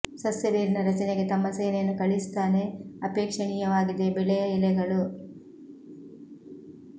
ಸಸ್ಯ ಬೇರಿನ ರಚನೆಗೆ ತಮ್ಮ ಸೇನೆಯನ್ನು ಕಳಿಸುತ್ತಾನೆ ಅಪೇಕ್ಷಣೀಯವಾಗಿದೆ ಬೆಳೆಯ ಎಲೆಗಳು